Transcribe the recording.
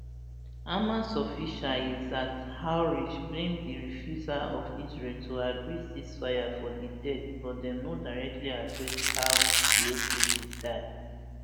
hamas official izzat alrishq blame di refusal of israel to agree ceasefire for di deaths but dem no directly address how di hostages die